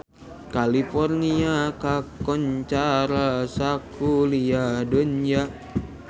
California kakoncara sakuliah dunya